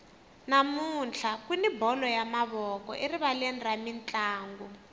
namuntlha kuni bolo ya mavoko erivaleni ra mintlangu